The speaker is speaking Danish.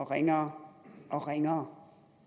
ringere og ringere